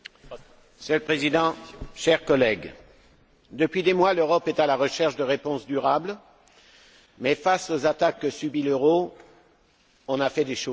Monsieur le Président, chers collègues, depuis des mois, l'Europe est à la recherche de réponses durables, mais face aux attaques que subit l'euro, des initiatives ont été prises.